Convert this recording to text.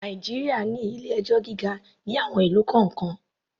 Nàìjíríà ní ilé-ẹjọ́ gíga ní àwon ìlú kọ̀ọ́kan.